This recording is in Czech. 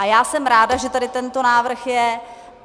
A já jsem ráda, že tady tento návrh je.